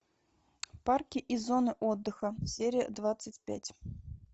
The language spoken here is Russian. парки и зоны отдыха серия двадцать пять